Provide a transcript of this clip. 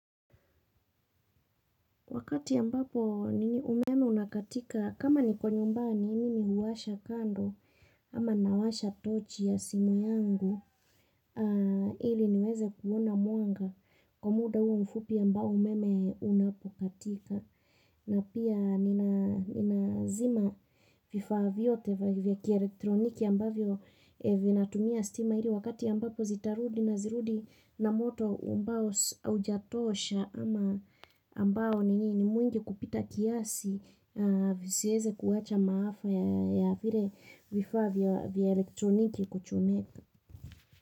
Wakati ambapo nini umeme unakatika kama niko nyumbani mimi huwasha kando ama nawasha tochi ya simu yangu ili niweze kuona muanga kwa muda huo mfupi ambao umeme unapokatika. Na pia ninazima vifaa vyote vya kielektroniki ambavyo vinatumia stima ili wakati ambapo zitarudi nazirudi na moto ambao haujatosha ama ambao nini mwingi kupita kiasi visiweze kuwacha maafa ya vile vifaa vya elektroniki kuchomeka.